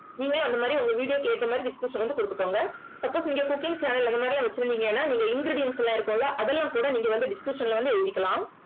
நீங்க அந்த மாதிரி உங்க video க்கு ஏத்த மாதிரி description வந்து கொடுத்துக்கோங்க suppose நீங்க cooking channel அந்த மாதிரி எல்லாம் வச்சிருந்தீங்கன்னா நீங்க ingredients எல்லாம் இருக்கும்ல அதெல்லாம் கூட நீங்க வந்து description ல வந்து எழுதிக்கலாம்